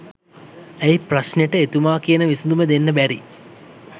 ඇයි ප්‍රශ්නෙට එතුමා කියන විසඳුම දෙන්න බැරි?